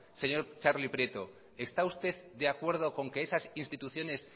señor txarli prieto esta usted de acuerdo con que esas instituciones